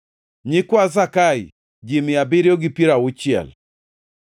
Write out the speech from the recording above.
nyikwa Zakai, ji mia abiriyo gi piero auchiel (760),